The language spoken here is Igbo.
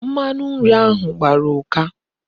Mmanu nri ahu gbara uka